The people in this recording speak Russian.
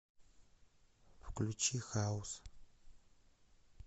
включи хаус